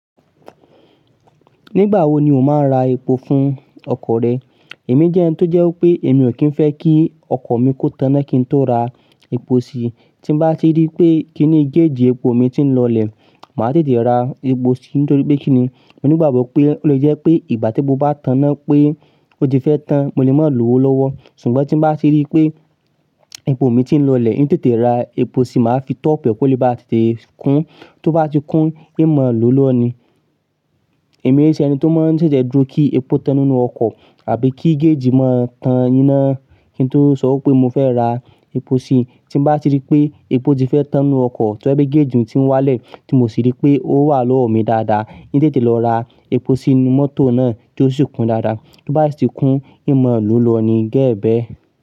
Nígbà wo ni o máa ń ra epo fún ọkọ̀ rẹ? Èmi jẹ́ ẹni tó jẹ́ pé èmi ò kí ń fẹ́ kí ọkọ̀ mi kó tanna kí n tó ra epo sí i. Tí n bá ti rí pé kí í ní géèjì epo mi ti ń lọlẹ̀, màá tètè ra epo sí i nítorí pé kí í ni mo ní ìgbàgbọ́ pé ó lè jẹ́ pé ìgbà tí mo bá tàná pé ó ti fẹ́ tán, mo lè máa lọ́wọ́ lọ́wọ́. Ṣùgbọ́n tí n bá ti rí pé epo mi ti ń lọlẹ̀, n tètè ra epo sí i, màá fi tọ́pù è, kó lè bá tètè kún. Tó bá ti kún, n maa lo lọ ní. Èmi o n sẹni tó máa ń ṣèṣè dúró kí epo tan nínú ọkọ̀ àbí kí géèjì máa tan iná kí n tó sọ pé mo fẹ́ ra epo sí i. Tí n bá ti rí pé epo ti fẹ́ tán nínú ọkọ̀, tó babje pe géèjì ń ti wálẹ̀ tí mo sì rí pé ó wà lọ́wọ́ mi dáadáa, tètè lọ ra epo sí inú mọ́tò náà kí ó sì kún dáadáa. Tó bá sì ti kún, n mò lo lọ ní gẹ́ẹ́gẹ́.